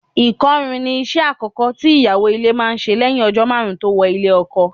Ìkọrún ni iṣẹ́ àkọ́kọ́ tí ìyàwó ilé máa ń ṣe lẹ́yìn ọjọ́ karùn-ún tó wọlé ọkọ.